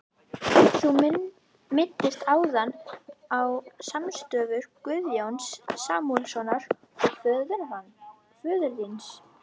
Þú minntist áðan á samstarf Guðjóns Samúelssonar og föður þíns.